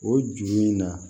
O ju in na